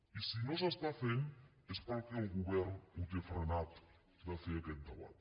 i si no s’està fent és perquè el govern ho té frenat de fer aquest debat